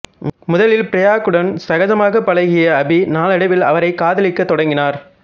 முதலில் பிரக்யாவுடன் சகஜமாகப் பழகிய அபி நாளடைவில் அவரைக் காதலிக்கத் தொடங்கினார்